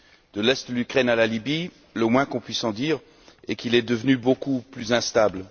De l'Est de l'Ukraine à la Libye, le moins qu'on puisse en dire est qu'il devenu beaucoup plus instable.